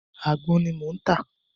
Àgbọn ni mò ń tà.